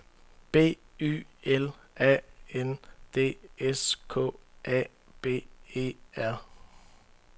B Y L A N D S K A B E R